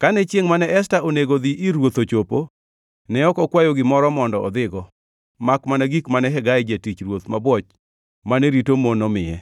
Kane chiengʼ mane Esta onego dhi ir ruoth ochopo, ne ok okwayo gimoro mondo odhigo, makmana gik mane Hegai, jatich ruoth mabwoch mane rito mon, omiye.